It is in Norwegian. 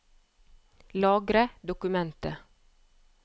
Lagre dokumentet